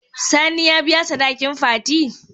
Sani ya biya sadakin fati?